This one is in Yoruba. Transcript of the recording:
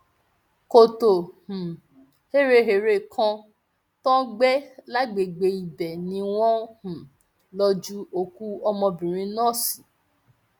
kọtò um héréhère kan tó gbé lágbègbè ibẹ ni wọn um lò ju òkú ọmọbìnrin náà sí